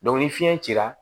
ni fiɲɛ cira